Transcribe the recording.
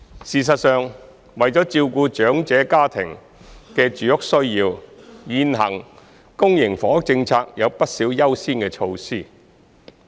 事實上，為了照顧長者家庭的住屋需要，現行公營房屋政策有不少優先措施。